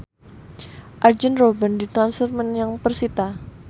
Arjen Robben ditransfer menyang persita